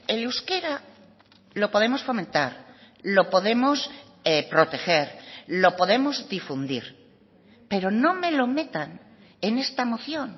el euskera lo podemos fomentar lo podemos proteger lo podemos difundir pero no me lo metan en esta moción